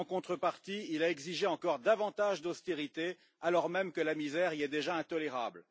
En contrepartie, il a exigé encore davantage d'austérité, alors même que la misère y est déjà intolérable.